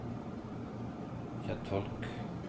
kjentfolk